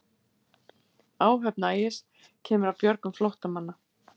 Áhöfn Ægis kemur að björgun flóttamanna